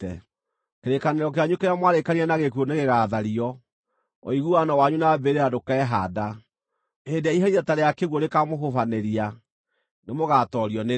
Kĩrĩkanĩro kĩanyu kĩrĩa mwarĩkanĩire na gĩkuũ nĩgĩgathario; ũiguano wanyu na mbĩrĩra ndũkehaanda. Hĩndĩ ĩrĩa iherithia ta rĩa kĩguũ rĩkaamũhubanĩria, nĩmũgatoorio nĩrĩo.